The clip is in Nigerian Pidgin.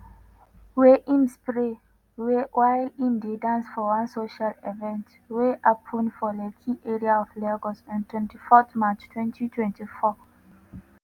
wey im spray while im dey dance for one social event wey happun for lekki area of lagos on 24 march 2024.